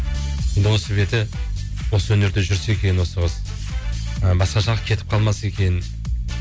енді осы беті осы өнерде жүрсе екен осы қыз і басқа жаққа кетіп қалмаса екен